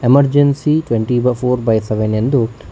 emergency twenty ಬಾ four by seven ಎಂದು--